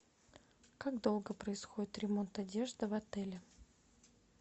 как долго происходит ремонт одежды в отеле